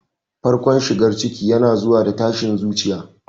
Farkon shigar ciki yana zuwa da tashin zuciya.